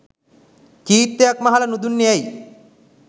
චීත්තයක් මහලා නුදුන්නේ ඇයි?